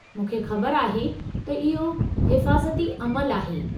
मूंखे ख़बर आहे त इहो हिफ़ाज़ती अमलु आहे।